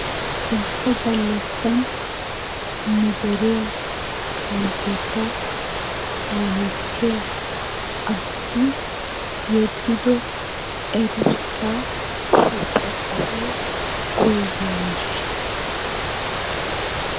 Ciishsha galassan nu deriya kawotettaa kaalettiya asati yeddido cengurssa ixxokko woy woygiyaageeshsha.